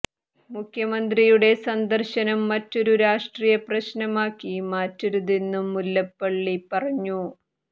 മുഖ്യമന്ത്രിയുടെ സന്ദർശനം മറ്റൊരു രാഷ്ട്രീയ പ്രശ്നമാക്കി മാറ്റരുതെന്നും മുല്ലപ്പള്ളി പറഞ്ഞു